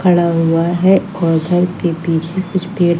खड़ा हुआ है और घर के पीछे कुछ पेड़--